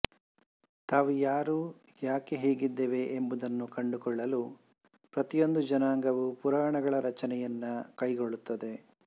ತಾವು ಯಾರುಯಾಕೆ ಹೀಗಿದ್ದೇವೆ ಎಂಬುದನ್ನು ಕಂಡುಕೊಳ್ಳಲು ಪ್ರತಿಯೊಂದು ಜನಾಂಗವು ಪುರಾಣಗಳ ರಚನೆಯನ್ನು ಕೈಗೊಳ್ಳುತ್ತದೆ